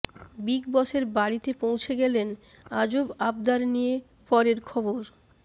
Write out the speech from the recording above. big বসের বাড়িতে পৌঁছে গেলেন আজব আবদার নিয়ে পরের খবর